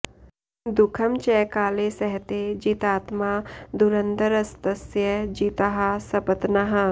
दुःखं च काले सहते जितात्मा धुरन्धरस्तस्य जिताः सपत्नाः